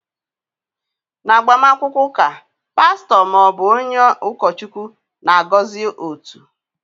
N'agbamakwụkwọ ụka, pastọ ma ọ bụ onye ụkọchukwu na-agọzi otu.